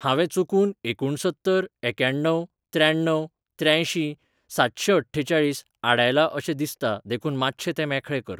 हांवें चुकून एकुणसत्तर एक्याण्णव शाण्णव त्र्यांयशीं सातशेंअठ्ठेचाळीस आडायला अशें दिसता देखून मातशें तें मेखळें करचें.